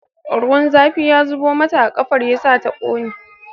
Ruwan zafi ya zubo mata a ƙafar yasa ta ƙone